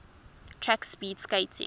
track speed skating